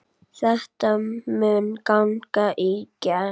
Þetta mun ganga í gegn.